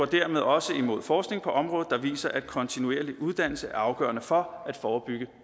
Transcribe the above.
dermed også går imod forskning på området der viser at kontinuerlig uddannelse er afgørende for at forebygge